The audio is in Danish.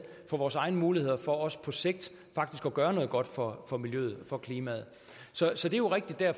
på vores egne muligheder for også på sigt faktisk at gøre noget godt for for miljøet og for klimaet så så det er jo rigtigt at